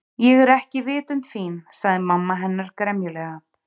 Ég er ekki vitund fín- sagði mamma hennar gremjulega.